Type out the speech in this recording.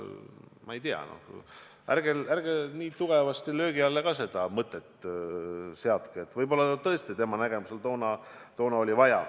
Ma ei tea, ärge nii tugevasti löögi alla ka seda mõtet seadke, võib-olla seda tõesti tema nägemusel oli toona vaja.